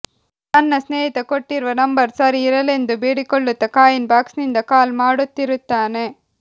ತನ್ನ ಸ್ನೇಹಿತ ಕೊಟ್ಟಿರುವ ನಂಬರ್ ಸರಿ ಇರಲೆಂದು ಬೇಡಿಕೊಳ್ಳುತ್ತಾ ಕಾಯಿನ್ ಬಾಕ್ಸ್ನಿಂದ ಕಾಲ್ ಮಾಡುತ್ತಿರುತ್ತಾನೆ